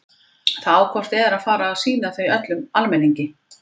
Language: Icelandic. Það á hvort eð er að fara að sýna þau öllum almenningi.